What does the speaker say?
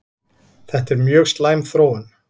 Þetta er mjög slæm þróun